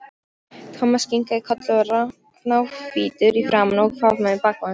Thomas kinkaði kolli, náhvítur í framan, og faðmaði bakpokann sinn.